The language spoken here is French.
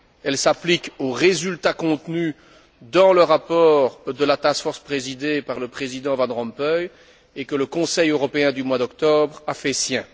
Elle s'applique aux résultats contenus dans le rapport de la task force présidée par le président Van Rompuy et que le Conseil européen du mois d'octobre a fait sien.